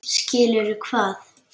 Skilur hvað?